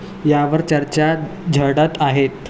यावर चर्चा झडत आहेत.